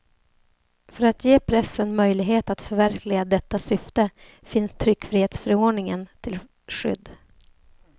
För att ge pressen möjlighet att förverkliga detta syfte finns tryckfrihetsförordningen till skydd.